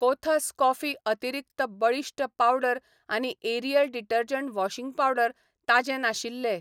कोथास कॉफी अतिरिक्त बळिश्ट पावडर आनी एरियल डिटर्जंट वॉशिंग पावडर ताजें नाशिल्ले.